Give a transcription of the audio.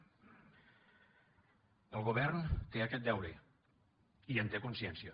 el govern té aquest deure i en té consciència